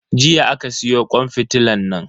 Jiya aka siyo kwan fitilan nan.